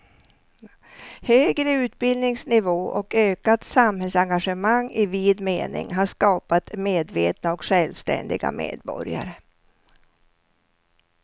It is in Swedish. Högre utbildningsnivå och ökat samhällsengagemang i vid mening har skapat medvetna och självständiga medborgare.